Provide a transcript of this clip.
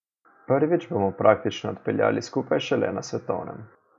Prvič bomo praktično odpeljali skupaj šele na svetovnem.